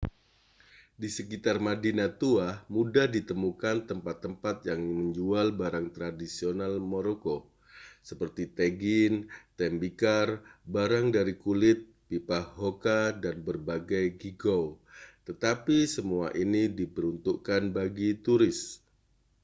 di sekitar madinah tua mudah ditemukan tempat-tempat yang menjual barang tradisional maroko seperti tagine tembikar barang dari kulit pipa hookah dan berbagai geegaw tetapi semua ini diperuntukkan bagi turis